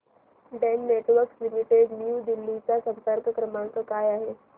Den Networks Limited New Delhi चा संपर्क क्रमांक काय आहे